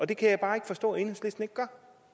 det kan jeg bare ikke forstå at enhedslisten ikke gør